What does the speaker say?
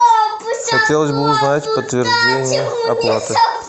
хотелось бы узнать подтверждение оплаты